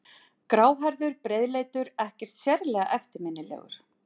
Gráhærður, breiðleitur, ekkert sérlega eftirminnilegur.